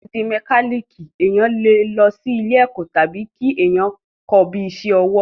Láti di mẹkálíkì, èèyàn le lọ sí ilé ẹ̀kọ́ tàbí kí èèyàn kọ́ ọ bíi isẹ́ ọwọ́